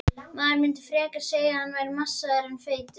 Maður myndi frekar segja að hann væri massaður en feitur.